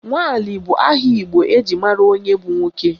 Nwali bụ aha Igbo eji mara onye bụ nwoke